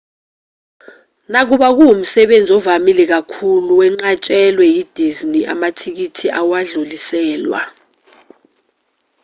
nakuba kuwumsebenzi ovamile kakhulu wenqatshelwe yi-disney amathikithi awadluliselwa